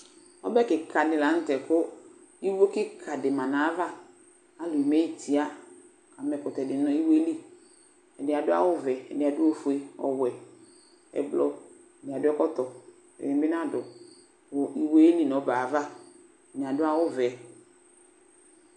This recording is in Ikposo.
Ɔbɛ kika di la nʋ tɛ kʋ iwo kika di ma nʋ ayava Alʋ eme yi tia, kʋ ama ɛkʋtɛ di nʋ iwo yɛ li Ɛdi adʋ awʋ vɛ, ɛdi adʋ ofue, ɔwɛ, ɛblɔ Ɛdi adʋ ɛkɔtɔ, ɛdi bi nadʋ, kʋ iwo yɛ yɛli nʋ ɔbɛ yɛ ava Ɛdini adʋ awʋ vɛ